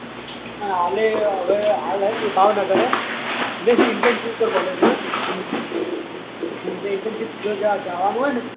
આલે હવે આલે એ ભાવનગર હે જય શ્રી internship પર કોલેજ હોય હમમ જેને internship પર જવાનું હોય